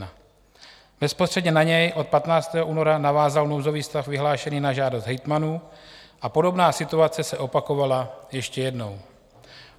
Bezprostředně na něj od 15. února navázal nouzový stav vyhlášený na žádost hejtmanů a podobná situace se opakovala ještě jednou.